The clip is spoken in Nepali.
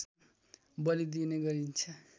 बलि दिइने गरिन्छ